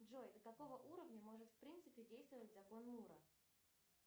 джой до какого уровня может в принципе действовать закон мура